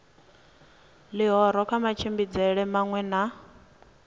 ḽihoro kha matshimbidzelwe maṅwe na